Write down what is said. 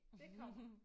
Det kommer